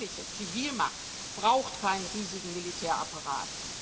Eine wirkliche Zivilmacht braucht keinen riesigen Militärapparat.